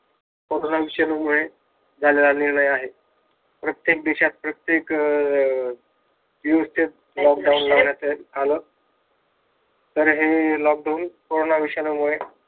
Corona विषाणू मुळे झालेला आहे. प्रत्येक देशात प्रत्येक अं दिवशी lockdown आल, तर हे lockdown विषाणू मुळे झालेलं आहे.